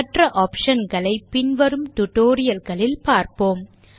மற்ற optionகளை பின்வரும் tutorial களில் பார்ப்போம்